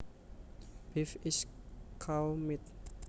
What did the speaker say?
Beef is cow meat